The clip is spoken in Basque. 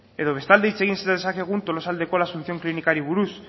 edo bestalde hitz egin dezakegu tolosaldeko la asunción klinikari buruz